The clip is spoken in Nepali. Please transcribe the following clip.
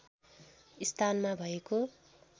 स्थानमा भएको